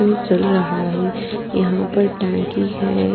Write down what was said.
वो चल रहा है यहाँ पे टँकी है।